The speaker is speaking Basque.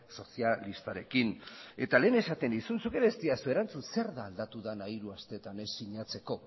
sozialistarekin eta lehen esaten nizun zuk ere ez didazu erantzun zer ez da aldatu dena hiru astetan ez sinatzeko